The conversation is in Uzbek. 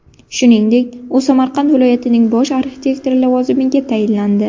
Shuningdek, u Samarqand viloyatining bosh arxitektori lavozimiga tayinlandi.